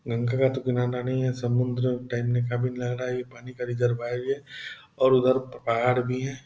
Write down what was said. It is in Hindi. गंगा का तो किनारा नहीं है समुद्र टाइप लग रहा है इ पानी का रिजरवाइर है और उधर पहाड़ भी है।